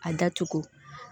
A datugu